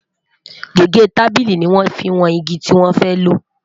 gégé tábìlì ní wọn fí wón ìgi tí wọn fẹ lo